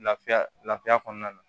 Lafiya lafiya kɔnɔna na